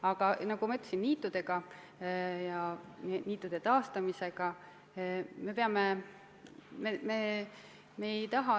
Aga nagu ma ütlesin, niitudega ja niitude taastamisega me peame tegelema.